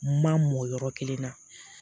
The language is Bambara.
Ma mɔ yɔrɔ kelen na